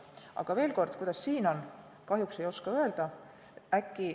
Aga veel kord: kuidas siin on, kahjuks ei oska öelda.